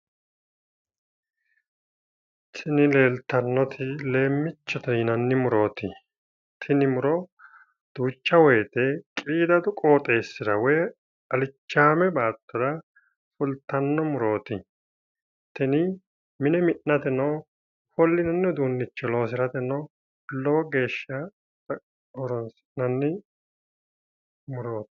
Tini leeltannoti leemmichote yinanni murooti. Tini muro duucha woyite qiidadu qooxessira woyi alichaame baattora fultanno murooti. Tini mine mi'nateno ofollinanni uduunnicho loosirateno lowo geesha horoonsi'nanni murooti.